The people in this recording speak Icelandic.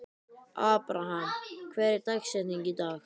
Abraham, hver er dagsetningin í dag?